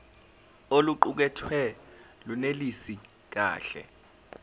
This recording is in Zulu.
oluqukethwe lunelisi kahle